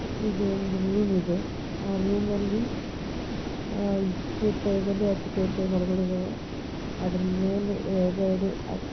ಒಂದು ರೋಮಿದೇ ಆ ರೋಮಲ್ಲಿ ಯಾವುದೇ ತರ ಟೇಬಲ್